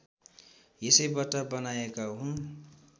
यसैबाट बनाएका हुन्